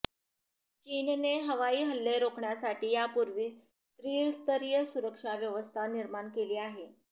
चीनने हवाई हल्ले रोखण्यासाठी यापूर्वीच त्रिस्तरीय सुरक्षा व्यवस्था निर्माण केली आहे